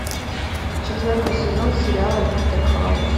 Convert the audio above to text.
четвертый сезон сериала доктор хаус